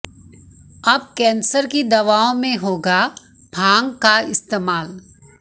अब कैंसर की दवाओं में होगा भांग का इस्तेमाल